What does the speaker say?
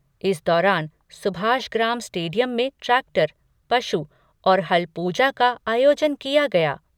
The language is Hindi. इस दौरान सुभाषग्राम स्टेडियम में ट्रैक्टर, पशु और हल पूजा का आयोजन किया गया।